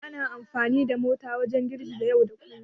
Ana amfani da mota wajen zirga-zirga yau da kullum.